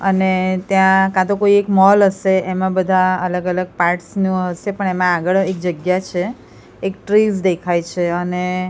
અને ત્યાં કા તો કોઈ એક મોલ હસે એમાં બધા અલગ અલગ પાર્ટ્સ નું હસે પણ એમા આગળ એક જગ્યા છે એક ટ્રીઝ દેખાય છે અને--